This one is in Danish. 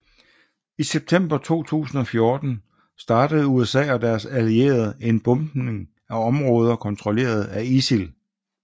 I september 2014 startede USA og deres allierede en bombing af områder kontrollerede af ISIL